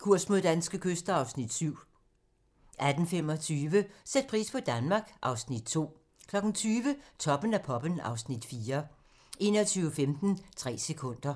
Kurs mod danske kyster (Afs. 7)* 18:25: Sæt pris på Danmark (Afs. 2) 20:00: Toppen af poppen (Afs. 4) 21:15: Tre sekunder